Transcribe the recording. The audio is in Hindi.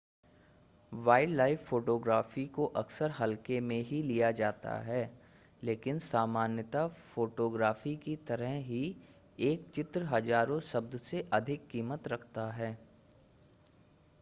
वाइल्डलाइफ़ फ़ोटोग्राफ़ी को अक्सर हल्के में ही लिया जाता है लेकिन सामान्यतः फ़टोग्राफ़ी की तरह ही एक चित्र हज़ारों शब्द से अधिक कीमत रखता है